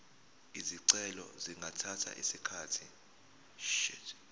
izicelo zingathatha isikhathi